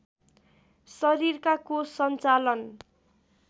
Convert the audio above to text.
शरीरका कोष सञ्चालन